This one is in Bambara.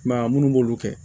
I m'a ye munnu b'olu kɛ